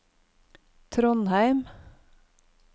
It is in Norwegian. Trondheim